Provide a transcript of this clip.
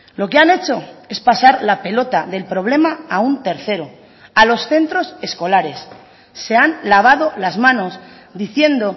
lo que han hecho es pasar la pelota del problema a un tercero a los centros escolares se han lavado las manos diciendo